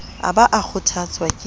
a ba a kgothotswa ke